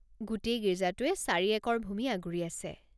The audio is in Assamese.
গোটেই গীৰ্জাটোৱে চাৰি একৰ ভূমি আগুৰি আছে।